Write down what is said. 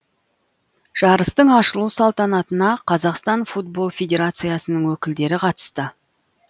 жарыстың ашылу салтанатына қазақстан футбол федерациясының өкілдері қатысты